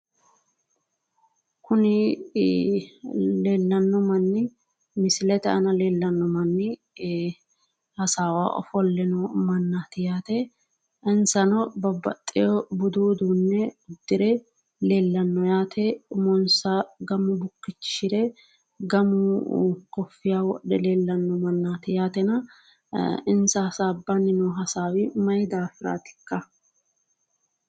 Kunni leelano manni misilete aanna leellano manni hassaawaho ofole noo mannati yaate insano babbaxeo budu uduune udire leellano yaate umonsa gamu bukichishire gamu kofiya wodhe leellano mannati yaatenna insa hassaabanni noo hassaawi mayi daafiraatika.